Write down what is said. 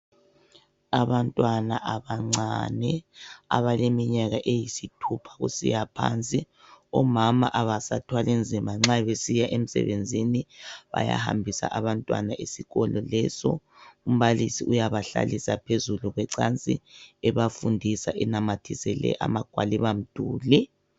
Abantwana abancane abaleminyaka eyisithupha kusiya phansi. Omama abasathwali nzima nxa besiya emsebenzini. Bayahambisa abantwana ezikolo lezo. Umbalisi uyabahlalisa phezulu kwecansi, ebafundisa enamathisele amagwalibamduli.